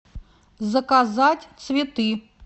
заказать цветы